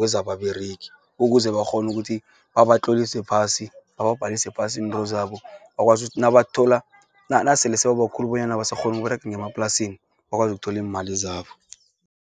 wezababeregi, ukuze bakghone ukuthi babatlolise phasi, babhalise phasi introzabo. Bakwazi ukuthi nabathola nasele sebabakhulu bonyana abasakghoni ukuberega emaplasini bakwazi ukutholi iimali zabo.